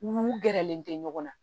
N gɛrɛlen tɛ ɲɔgɔn na